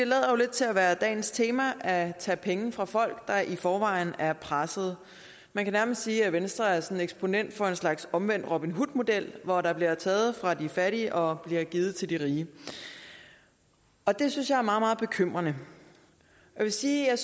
til at være dagens tema at tage penge fra folk der i forvejen er presset man kan nærmest sige at venstre er sådan eksponent for en slags omvendt robin hood model hvor der bliver taget fra de fattige og givet til de rige og det synes jeg er meget meget bekymrende jeg vil sige at